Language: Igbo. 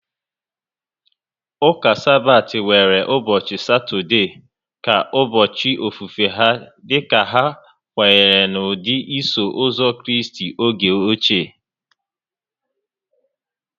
Ụka Sabbath nwere ụbọchị Satọde ka ụbọchị ofufe ha dika ha kwenyere n'ụdị Iso Ụzọ Kraịst oge ochie